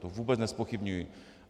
To vůbec nezpochybňuji.